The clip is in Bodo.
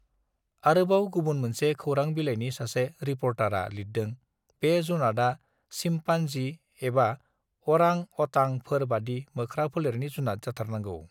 आरोबाव गुबुन मोनसे खौरां बिलाइनि सासे रिपर्टार आ लिरदों बे जुनातआ सिमपान् जि एबा अरां अटां फोर बादि मोख्रा फेलेरनि जुनात जाथारनांगौ